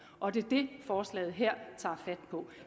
og det er det forslaget her tager fat på